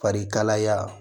Farikalaya